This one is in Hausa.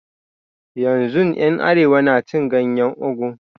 Yanzun yan arewa na cin ganyen ogu